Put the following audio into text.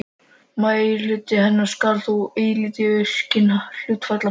Meirihluti hennar skal þó ætíð kjörinn af hluthafafundi.